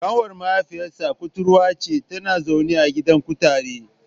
Ƙanwar mahaifinsa kuturwa ce, tana zaune a gidan kutare.